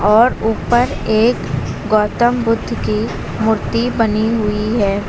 और ऊपर एक गौतम बुद्ध की मूर्ति बनी हुई है।